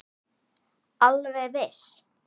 Alveg viss.